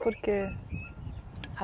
Por que?